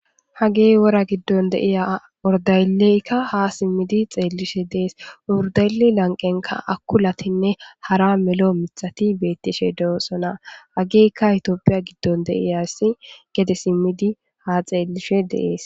hagey wora giddon de'iya urdayleykka ha simmidi xeellishe dees urdayle lanqenka akulatinne hara melo mithati beettishe deosona ageykka itoopiya giddon deiyassi gede simmidi ha xeellishe deees